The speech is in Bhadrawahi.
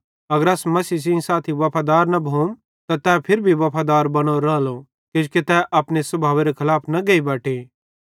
अगर अस मसीह सेइं साथी वफादार न भोम त तै फिरी भी वफादार बनोरो रालो किजोकि तै अपने स्भावेरे खलाफ न गेइ बटे